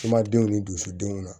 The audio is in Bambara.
Kumadenw ni dusudenw na